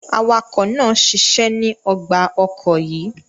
Awakọ naa ṣiṣẹ ni ọgba ọkọ yíì